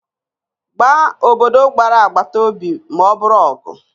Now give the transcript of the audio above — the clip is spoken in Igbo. Gbaa obodo gbara agbata obi ma ọ bụrụ ọgụ